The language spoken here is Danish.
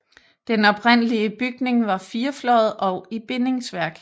Den oprindelige bygning var firefløjet og i bindingsværk